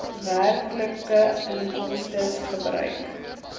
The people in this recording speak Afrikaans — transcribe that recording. werklike inkomstes gebruik